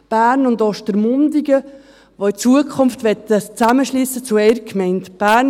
Bern und Ostermundigen, die in Zukunft ein Zusammenschliessen zu einer Gemeinde möchten.